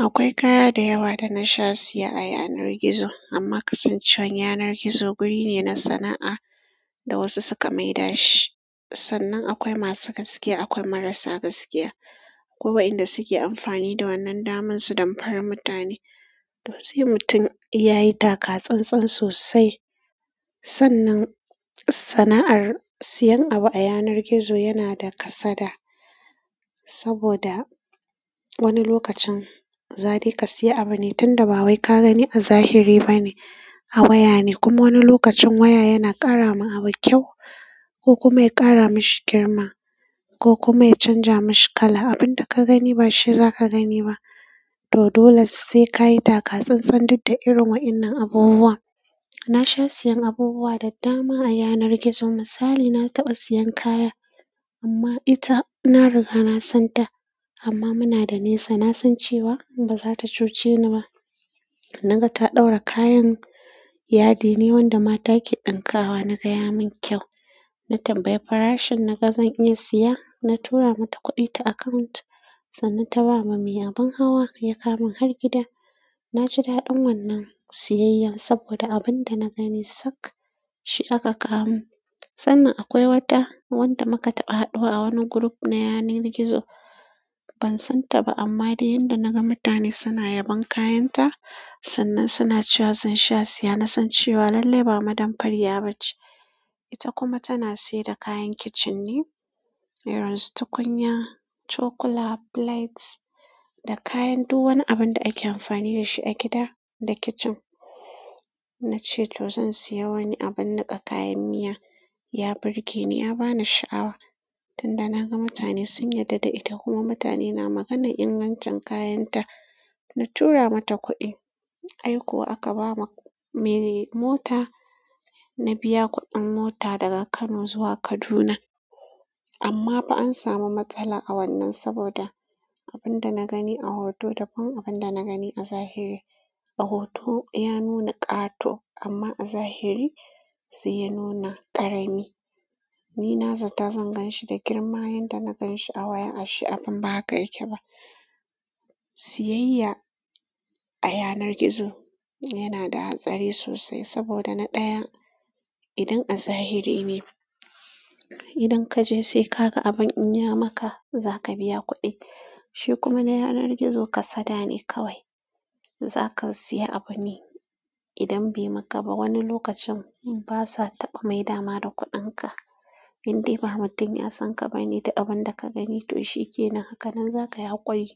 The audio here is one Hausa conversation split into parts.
Akwai kaya da yawa da na sha siya a yanar gizo amma kasancewan yanar gizo wuri ne na sana'a da wasu suka maida shi. Sannan akwai masu gaskiya, akwai marasa gaskiya. Akwai waƴanda suke amfani da wannan daman su damfari mutane. To sai mutum ya yi taka tsantsan sosai. Sannan sana'ar sayan abu a yanar gizo yana da kasada, saboda wani lokacin za dai ka sayi abu ne tunda ba wai ka gani a zahiri bane kuma wani lokacin waya yana ƙara ma abu kyau ko kuma ya ƙara mashi girma ko kuma ya canja mashi kala. Abin da ka gani ba shi zaka gani ba. To dole sai kayi taka tsantsan duk da irin wa'innan abubuwa. Na sha siyan abubuwa da dama a yanar gizo. Misali, na taɓa siyan kaya amma ita na riga na san ta amma muna da nesa. Na san cewa ba za ta cuce ni ba. Naga ta ɗaura kayan yadi ne wanda mata ke ɗanƙawa. Na ga ya mun kyau. Na tambayi farashin naga zan iya siya. Na tura mata kuɗi ta account sannan ta ba ma mai abin hawa ya kawo min har gida. Na ji daɗin wannan siyayyan saboda abin da na gani sak shi aka kawo min. Sannan akwai wata wanda muka taɓa haɗuwa a wani group na yanar gizo. Ban san ta ba amma dai yanda naga mutane suna yabon kayan ta, sannan suna cewa zan sha siya. Na san cewa lallai ba ma damfariya ba ce. Ita kuma tana sayar da kayan kicin ne irin su tukunya, cokula, plates da kayan duk wani abin da ake amfani da shi a gida da kicin. Na ce to zan siya wani abun niƙa kayan miya. Ya birge ni, ya bani sha'awa. Tunda naga mutane sun yarda da ita kuma mutane na maganar ingancin kayan ta, na tura mata kuɗi. Ai kuwa aka ba me mota. Na biya kuɗin mota daga Kano zuwa Kaduna. Amma fa an samu matsala a wannan saboda abin da na gani a hoto daban abin da na gani a zahiri. A hoto ya nuna ƙato amma a zahiri sai ya nuna ƙarami. Ni na zata zan gan shi da girma. Yanda na gan shi a waya ashe abin ba haka yake ba. Siyayya a yanar gizo yana da hatsari sosai saboda na ɗaya idan a zahiri ne idan kaje sai ka ga abun in yi maka, zaka biya kuɗi. Shi kuma na yanar gizo kasada ne kawai. Zaka siya abune idan bai maka ba, wani lokacin basa taɓa maida ma da kuɗin ka. Indai ba mutum ya san ka ba ne, duk abun da ka gani to shi kenan. Hakanan zaka yi haƙuri.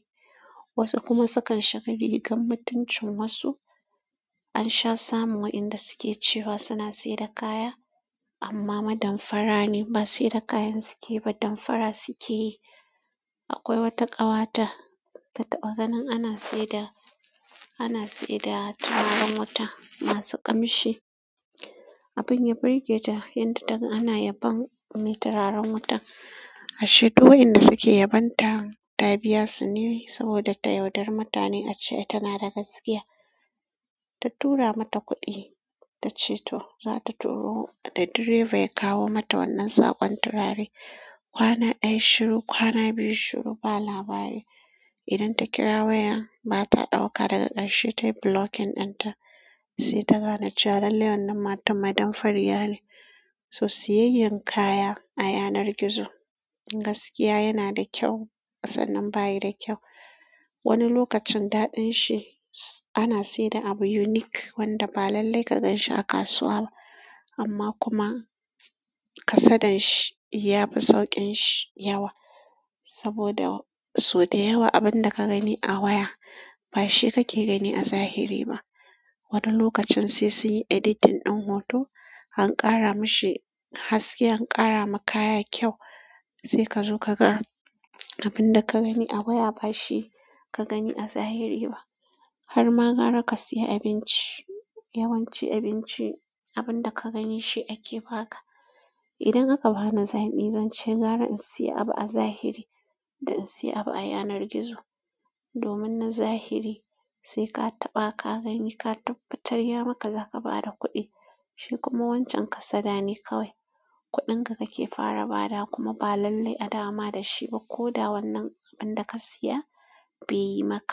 Wasu kuma sukan shiga rigar mutuncin wasu. An sha samun wa'innan da suke cewa suna sayar da kaya amma damfara ne. Ba sayar da kayan suke ba, damfara suke yi. Akwai wata ƙawata, ta taɓa ganin ana sayar da, ana sayar da turaren wuta masu ƙamshi. Abin ya birge ta yanda taga ana yabon me turaren wuta. Ashe to wa'innan da suke yabon ta, ta biya su ne saboda ta yaudari mutane. Ta ce ita na da gaskiya. Ta tura mata kuɗi ta ce to, za ta turo da direba ya kawo mata wannan saƙon turare. Kwana ɗaya shiru, kwana biyu shiru ba labari. Idan ta kira waya ba ta ɗauka daga ƙarshe ta yi blocking ɗin ta. Sai ta gane cewa lallai wannan matar ma damfari ya ne. To siyayyan kaya a yanar gizo gaskiya yana da kyau sannan bayi da kyau. Wani lokacin daɗin ahi ana sayar da abu unique wanda ba lalllai ka gan shi a kasuwa ba amma kuma kasadan shi yafi sauƙin shi yawa, saboda sau da yawa abin da ka gani a waya ba shi kake gani a zahiri ba. Wani lokacin sai sun yi editing ɗin hoto an ƙara mashi haske, an ƙara ma kaya kyau sai ka zo ka ga abin da ka gani a waya ba shi ka gani a zahiri ba. Har ma gara ka siya abinci, yawanci abinci abun da ka gani shi ake ba ka. Idan aka bani zaɓi zan ce gara in siya abu a zahiri da in siya abu a yanar gizo. Domin na zahiri sai ka taɓa ka gani, ka tabbatar ya maka zaka ba da kuɗi. Shi kuma wancan kasada ne kawai. Kuɗin ka kake fara bada wa kuma ba lallai a dawo ma da shi ba lo da wannan wanda ka siya bai maka ba.